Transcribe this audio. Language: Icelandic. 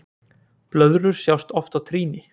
Blöðrur sjást oft á trýni.